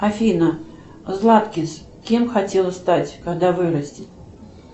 афина златкис кем хотела стать когда вырастит